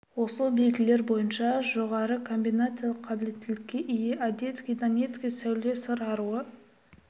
осы белгілер бойынша жоғары комбинациялық қабілеттілікке ие одецкий донецкий сәуле сыр аруы